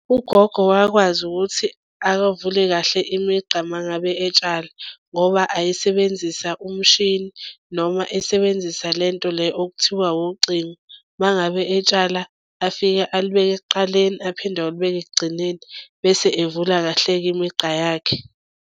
Ugogo wakwazi ukuthi akavule kahle imigqa uma ngabe etshala ngoba ayisebenzisa umshini noma esebenzisa le nto le okuthiwa wucingo. Uma ngabe etshala afike alibeke ekuqaleni aphinde ayolibeka ekugcineni bese evula kahle-ke imigqa yakhe.